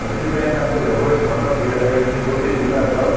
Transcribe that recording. ସେଥିପାଇଁ ତାଙ୍କୁ ଏଭଳି ଦଣ୍ଡ ଦିଆଯାଇଛି ବୋଲି ଜିଲ୍ଲା ଜର୍ଜ